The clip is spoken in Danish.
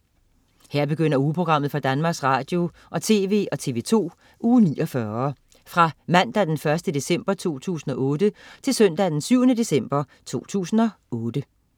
Her begynder ugeprogrammet for Danmarks Radio- og TV og TV2 Uge 49 Fra Mandag den 1. december 2008 Til Søndag den 7. december 2008